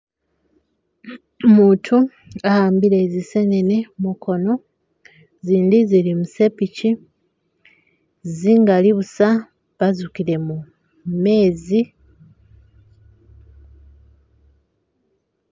Umutu ahambile zisenene mukono zindi zili musepichi zingali busa bazukilemo meezi.